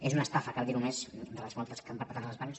és una estafa cal dir·ho més de les moltes que han perpetrat els bancs